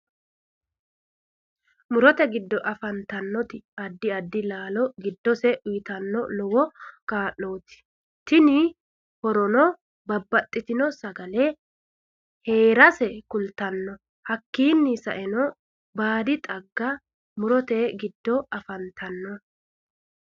Murote giddo afantanno addi addi laalo giddose uyiitanoti lowo kaa'looti tini horono babbaxitino sagale heerase kultanno hakiini saeno baadi xaggano murote giddo afantanno